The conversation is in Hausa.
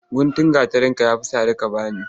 Guntun gatarinka ya fi sari ka ba ni.